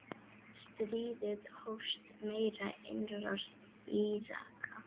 Stríðið hófst með innrás Íraka.